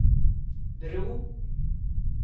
bro